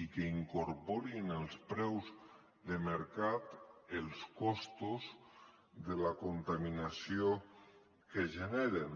i que incorpori en els preus de mercat els costos de la contaminació que generen